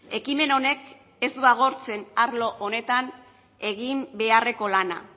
ekimen honek ez du agortzen arlo honetan egin beharreko lana